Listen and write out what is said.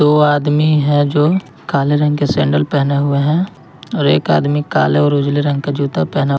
दो आदमी है जो काले रंग के सैंडल पहने हुए हैं और एक आदमी काले और उजले रंग का जूता पहना--